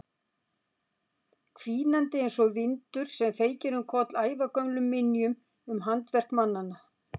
Hvínandi einsog vindur sem feykir um koll ævagömlum minjum um handaverk mannanna.